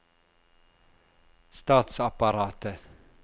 statsapparatet